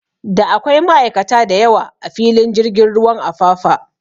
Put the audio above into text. Da akwai ma'aikata da yawa a filin jirgin ruwan Apapa